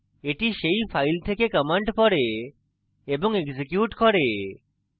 এটি সেই file থেকে commands পড়ে এবং executes করে